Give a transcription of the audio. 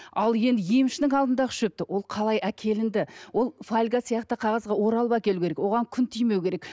ал енді емшінің алдындағы шөпті ол қалай әкелінді ол фольга сияқты қағазға оралып әкелуі керек оған күн тимеу керек